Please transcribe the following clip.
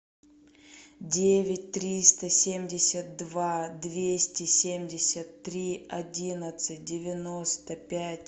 девять триста семьдесят два двести семьдесят три одиннадцать девяносто пять